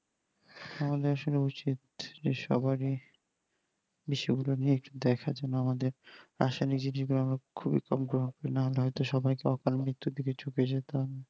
আমাদের আসলে উচিত যে সবারি বিষয়গুলো নিয়ে দেখার জন্য আমাদের নিজেরা যদি খুবই আগ্রোহ না হলে হয় তো সবাইকে অকাল মৃত্যুর দিকে